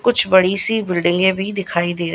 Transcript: कुछ बड़ी सी बिल्डिंगे भी दिखाई दे--